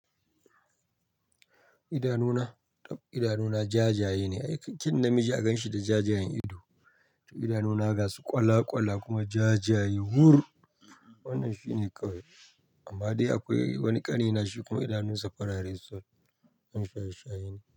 Idanuna, idanuna jajaye ne. Ai kyawun namiji a gan shi da jajayen ido. To idanuna gasu kwala-kwala kuma jajaye wur, wannan shine kawai. Amma dai akwai wani ƙani na shi kuma idanunsa farare sol, ɗan shaye -shaye ne.